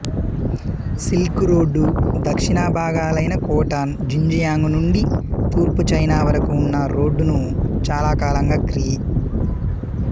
silk road దక్షిణ భాగాలైన Khotan Xinjiang నుండి తూర్పు చైనా వరకు ఉన్న రోడ్డును చాలాకాలంగా క్రీ